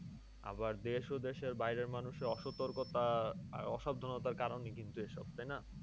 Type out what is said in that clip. আবার দেশ ও দেশের বাইরের মানুষের অসতর্কতা আহ অসাবধানতার কারণে কিন্তু এইসব। তাই না?